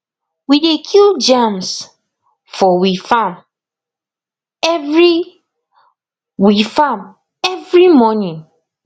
we dey kill germs for we farm every we farm every morning